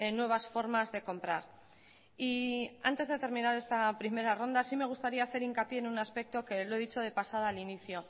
nuevas formas de comprar y antes de terminar esta primera ronda sí me gustaría hacer hincapié en un aspecto que lo he dicho de pasada al inicio